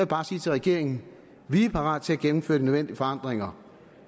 bare sige til regeringen vi er parate til at gennemføre de nødvendige forandringer